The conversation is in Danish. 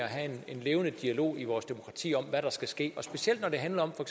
have en levende dialog i vores demokrati om hvad der skal ske specielt når det handler om for